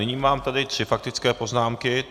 Nyní mám tady tři faktické poznámky.